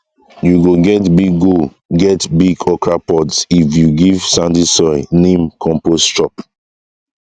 you go get big go get big okra pods if you give sandy soil neem compost chop